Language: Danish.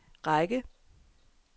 række